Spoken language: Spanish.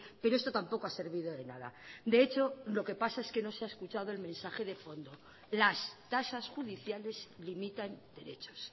pero esto tampoco ha servido de nada de hecho lo que pasa es que no se ha escuchado el mensaje de fondo las tasas judiciales limitan derechos